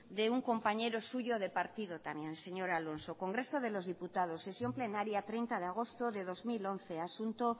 de un compañero suyo de partido también señor alonso congreso de los diputados sesión plenaria treinta de agosto de dos mil once asunto